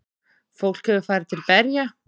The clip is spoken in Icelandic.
Fólk hefur farið til berja.